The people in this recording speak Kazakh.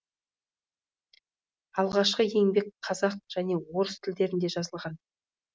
алғашқы еңбек қазақ және орыс тілдерінде жазылған